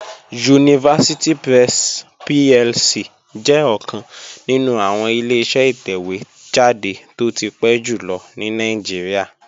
University Press PLC jẹ́ ọ̀kan nínú àwọn Ileṣẹ́ ìtẹ̀wé jáde tó ti pẹ́ jù lọ ní Nàìjíríà